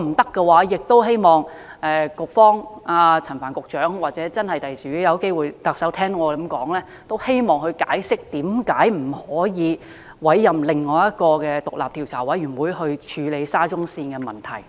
否則，我也希望陳帆局長可以解釋，又或日後特首有機會聽到我的建議的話，她可以解釋為何不可以委任另一個獨立調查委員會來處理沙中線的問題。